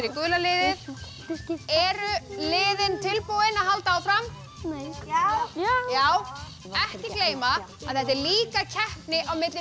gula liðið eru liðin tilbúin að halda áfram já já ekki gleyma að þetta er líka keppni á milli